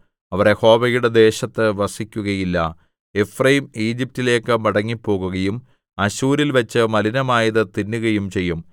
അവർ യഹോവയുടെ ദേശത്ത് വസിക്കുകയില്ല എഫ്രയീം ഈജിപ്റ്റിലേക്ക് മടങ്ങിപ്പോകുകയും അശ്ശൂരിൽവച്ച് മലിനമായത് തിന്നുകയും ചെയ്യും